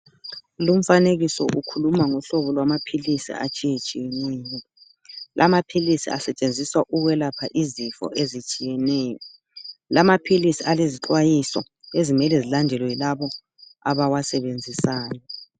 Lumfanekiso ukhuluma ngohlobo lwamaphilisi atshiyetshiyeneyo. Lamaphilisi asetshenziswa ukwelapha izifo ezitshiyeneyo, alezixwayiso ezimele zilandelwe yilabo abawasebenzisayo.